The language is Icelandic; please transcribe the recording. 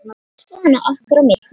Svona okkar á milli.